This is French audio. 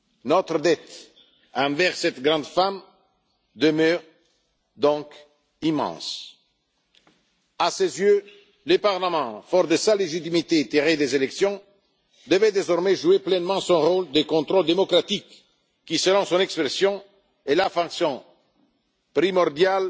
future. Notre dette envers cette grande femme demeure donc immense. À ses yeux, le Parlement, fort de sa légitimité tirée des élections, devait désormais jouer pleinement son rôle de contrôle démocratique, qui, selon son expression, est la fonction primordiale